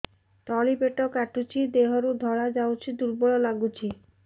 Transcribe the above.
ତଳି ପେଟ କାଟୁଚି ଦେହରୁ ଧଳା ଯାଉଛି ଦୁର୍ବଳ ଲାଗୁଛି